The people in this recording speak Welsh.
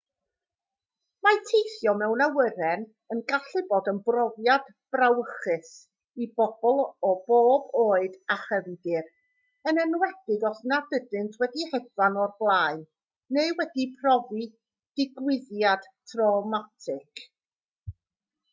mae teithio mewn awyren yn gallu bod yn brofiad brawychus i bobl o bob oed a chefndir yn enwedig os nad ydynt wedi hedfan o'r blaen neu wedi profi digwyddiad trawmatig